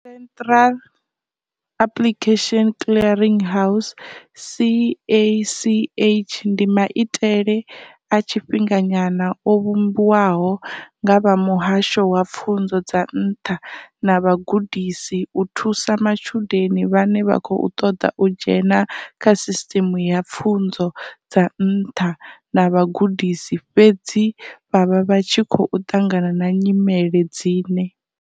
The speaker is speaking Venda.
Central Application Clearing House CACH ndi maitele a tshifhinga nyana o vhumbiwaho nga vha Muhasho wa Pfunzo dza Nṱha na Vhugudisi u thusa matshudeni vhane vha khou ṱoḓa u dzhena kha Sisteme ya Pfunzo dza Nṱha na Vhugudisi fhedzi vha vha vha tshi khou ṱangana na nyimele dzine.